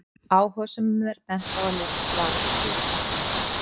Áhugasömum er bent á að lesa svarið til hlítar.